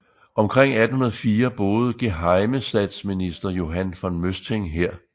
Omkring 1804 boede gehejmestatsminister Johan von Møsting her